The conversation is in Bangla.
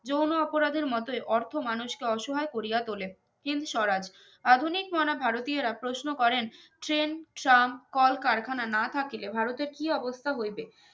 যৌন অপরাধের মতোই অর্থ মানুষ কে অসহায় করিয়া তোলে চিন স্বরাজ আধুনিকমনা ভারতীয় রা প্রশ্ন করেন train tram কল কারখানা না থাকিলে ভারতের কি অবস্থা হইবে